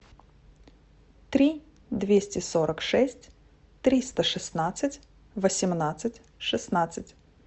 три двести сорок шесть триста шестнадцать восемнадцать шестнадцать